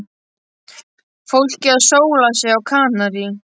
Fólkið að sóla sig á Kanarí.